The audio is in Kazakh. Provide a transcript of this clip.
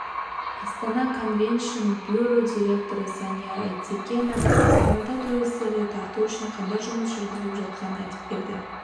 астана конвеншн бюро директоры санияр айтекенов астанада туристерді тарту үшін қандай жұмыс жүргізіліп жатқанын айтып берді